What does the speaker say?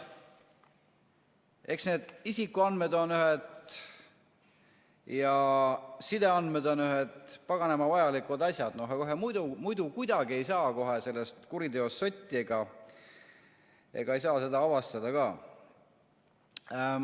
Eks need isikuandmed ja sideandmed on ühed paganama vajalikud asjad, muidu kohe kuidagi ei saa sellest kuriteost sotti ega ei saa seda avastada ka.